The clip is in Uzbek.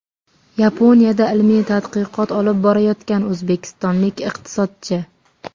Yaponiyada ilmiy tadqiqot olib borayotgan o‘zbekistonlik iqtisodchi.